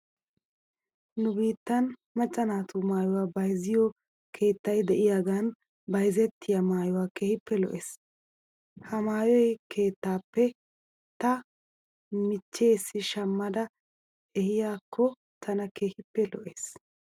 Nu biittan macca naatu maayuwaa bayzziyoo keettay de'iyaagan bayzettiyaa maayoy keehippe lo'es. He maayo keettaappe ta michcheessi shamada ehiyaakko tana keehippe lo'es.